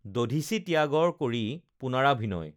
দধীচি ত্যাগৰ কৰি পুনৰাভিনয়